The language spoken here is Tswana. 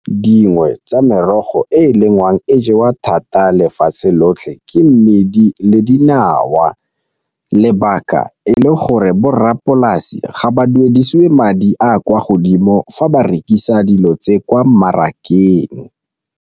Dingwe tsa merogo e e lengwang e jewa thata lefatshe lotlhe ke mmidi le dinawa, lebaka e le gore borrapolasi ga ba duedisiwe madi a kwa godimo fa ba rekisa dilo tse kwa mmarakeng.